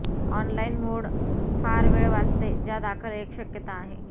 online mode फार वेळ वाचते ज्या दाखल एक शक्यता आहे